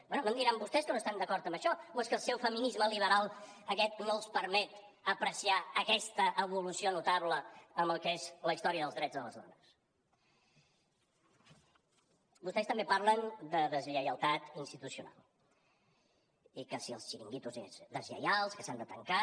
bé no em diran vostès que no estan d’acord amb això o és que el seu feminisme liberal aquest no els permet apreciar aquesta evolució notable en el que és la història dels drets de les dones vostès també parlen de deslleialtat institucional i que si els xiringuitos deslleials que s’han de tancar